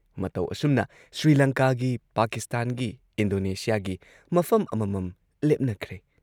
ꯃꯇꯧ ꯑꯁꯨꯝꯅ ꯁ꯭ꯔꯤꯂꯪꯀꯥꯒꯤ, ꯄꯥꯀꯤꯁꯇꯥꯟꯒꯤ, ꯏꯟꯗꯣꯅꯦꯁꯤꯌꯥꯒꯤ ꯃꯐꯝ ꯑꯃꯃꯝ ꯂꯦꯞꯅꯈ꯭ꯔꯦ ꯫